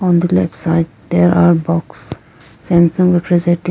on the left side there are box samsung refrigerator.